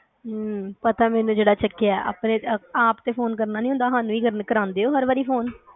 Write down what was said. ਅਮ ਪਤਾ ਮੈਨੂੰ ਜਿਹੜਾ ਚਕਿਆ ਆਪ ਤੇ ਫੋਨ ਕਰਨਾ ਨੀ ਹੁੰਦਾ ਹਾਨੂੰ ਈ ਕਰਾਦੇ ਓ ਹਰ ਵਾਰੀ ਫੋਨ